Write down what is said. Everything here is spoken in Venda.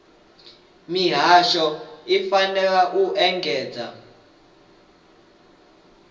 mihasho i fanela u engedzedza